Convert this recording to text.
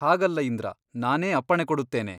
ಹಾಗಲ್ಲ ಇಂದ್ರ ನಾನೇ ಅಪ್ಪಣೆ ಕೊಡುತ್ತೇನೆ.